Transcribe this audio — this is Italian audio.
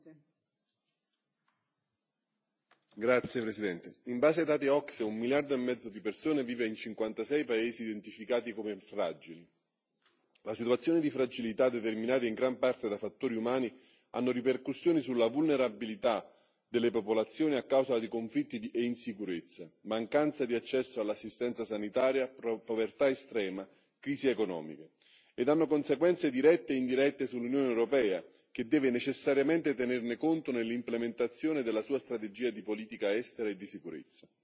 Signora Presidente, onorevoli colleghi, in base ai dati OCSE un miliardo e mezzo di persone vive in 56 paesi identificati come fragili. La situazione di fragilità, determinata in gran parte da fattori umani, ha ripercussioni sulla vulnerabilità delle popolazioni a causa di conflitti e insicurezza, mancanza di accesso all'assistenza sanitaria, povertà estrema, crisi economiche ed ha conseguenze dirette e indirette sull'Unione europea, che deve necessariamente tenerne conto nell'implementazione della sua strategia di politica estera e di sicurezza.